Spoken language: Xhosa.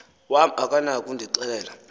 wam akanako ukundixelela